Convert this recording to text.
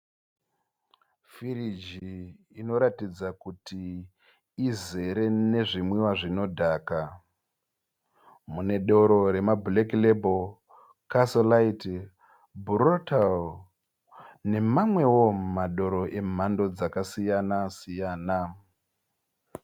Firigi inoratidza kuti izere nezvimwiwa zvinodhaka, mune doro remablack label, castle lite , brutal nemamwewo madoro emhando dzakasiyana siyana.